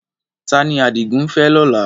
Ta ni Adigun ń fẹ́ lọ́la?